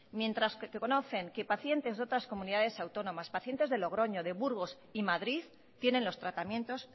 mientras que conocen que pacientes de otras comunidades autónomas pacientes de logroño de burgos y madrid tienen los tratamientos